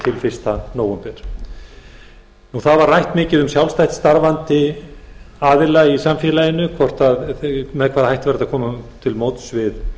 fyrsta nóvember mikið var rætt um sjálfstætt starfandi aðila í samfélaginu með hvaða hætti væri hægt að koma til móts við